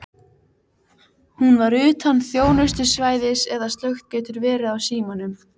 Hún var utan þjónustusvæðis eða slökkt getur verið á símanum.